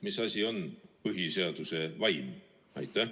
Mis asi on põhiseaduse vaim?